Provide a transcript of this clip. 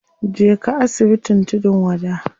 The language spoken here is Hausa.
Je ka asibitin tudun wada.